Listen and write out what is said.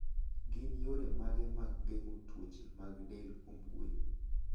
Gin yore mage mag geng'o tuoche mag del kuom gwen?